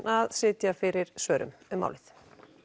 að sitja fyrir svörum um málið